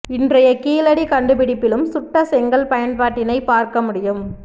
இன்றைய கீழடி கண்டுபிடிப்பிலும் சுட்டசெங்கல் பயன் பாட்டினை பார்க்க முடியும்